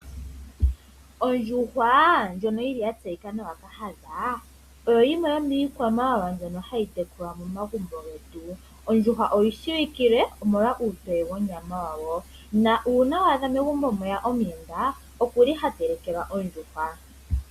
Ondjuhwa ndjono oya tseyika nawa kahadha oyo yimwe yomiikwamawa ndjono hayi tekulwa momagumbo. Ondjuhwa oyi shiwikile uutoye wonyama yawo nuuna megumbo ngele mweya omuyenda ohadhipangelwa ondjuhwa e tayi telekwa.